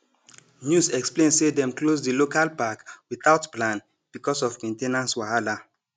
news explain say dem close di local park without plan because of main ten ance wahala